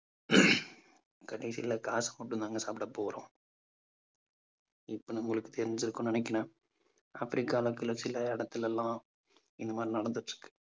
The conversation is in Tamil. கடைசியில காசு மட்டும் தாங்க சாப்பிட போறோம் இப்ப நம்மளுக்கு தெரிஞ்சிருக்கும்னு நினைக்கிறேன். ஆப்பிரிக்கால இருக்கிற சில இடத்துல எல்லாம் இந்த மாதிரி நடந்திட்டிருக்கு.